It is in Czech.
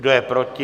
Kdo je proti?